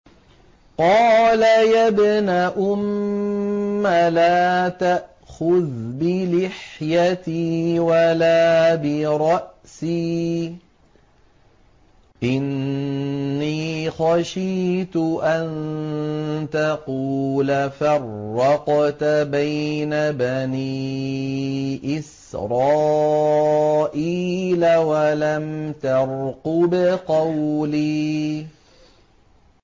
قَالَ يَا ابْنَ أُمَّ لَا تَأْخُذْ بِلِحْيَتِي وَلَا بِرَأْسِي ۖ إِنِّي خَشِيتُ أَن تَقُولَ فَرَّقْتَ بَيْنَ بَنِي إِسْرَائِيلَ وَلَمْ تَرْقُبْ قَوْلِي